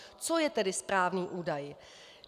Co je tedy správný údaj?